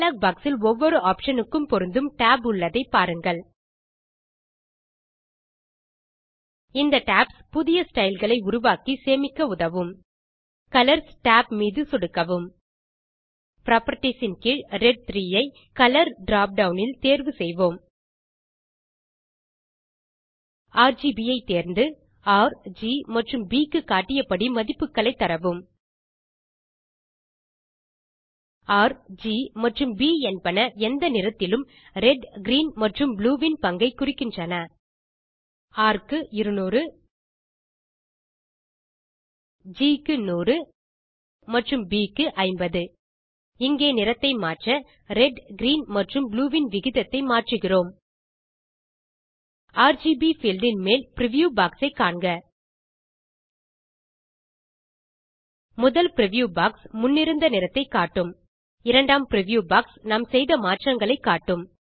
dialogue box இல் ஒவ்வொரு option க்கும் பொருந்தும் tab உள்ளதை பாருங்கள் இந்த டாப்ஸ் புதிய ஸ்டைல் களை உருவாக்கி சேமிக்க உதவும் கலர்ஸ் tab மீது சொடுக்கவும் புராப்பர்ட்டீஸ் கீழ் ரெட் 3 ஐ கலர் drop டவுன் இல் தேர்வு செய்வோம் ஆர்ஜிபி ஐ தேர்ந்து ர் ஜி மற்றும் ப் க்கு காட்டியபடி மதிப்புகளை தரவும் rஜி மற்றும் ப் என்பன எந்த நிறத்திலும் ரெட் கிரீன் மற்றும் ப்ளூ இன் பங்கை குறிக்கின்றன ர் க்கு 200 ஜி க்கு 100 மற்றும் Bக்கு 50 இங்கே நிறத்தை மாற்ற ரெட் கிரீன் மற்றும் ப்ளூ இன் விகிதத்தை மாற்றுகிறோம் ஆர்ஜிபி பீல்ட் இன் மேல் பிரிவ்யூ பாக்ஸ் ஐ காண்க முதல் பிரிவ்யூ பாக்ஸ் முன்னிருந்த நிறத்தை காட்டும் இரண்டாம் பிரிவ்யூ பாக்ஸ் நாம் செய்த மாற்றங்களை காட்டும்